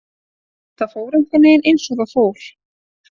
Það fór einhvernveginn eins og það fór.